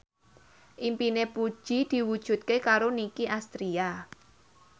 impine Puji diwujudke karo Nicky Astria